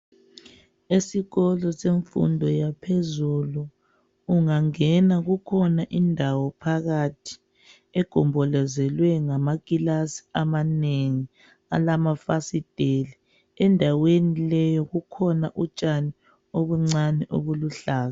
Esikolo semfundo yaphezulu ungangena kukhona indawo phakathi egombolozelwe ngamakilasi amanengi alamafasiteli. Endaweni leyo kukhona utshani obuncane obuluhlaza.